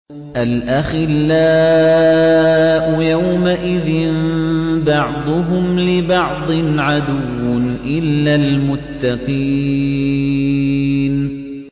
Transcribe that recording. الْأَخِلَّاءُ يَوْمَئِذٍ بَعْضُهُمْ لِبَعْضٍ عَدُوٌّ إِلَّا الْمُتَّقِينَ